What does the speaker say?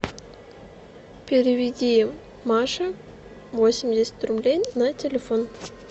переведи маше восемьдесят рублей на телефон